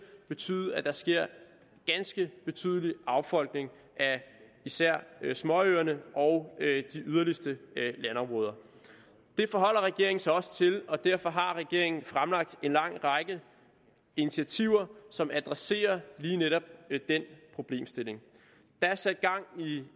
betyde at der sker ganske betydelig affolkning af især småøerne og de yderligste landområder det forholder regeringen sig også til og derfor har regeringen fremlagt en lang række initiativer som adresserer lige netop den problemstilling der er sat gang i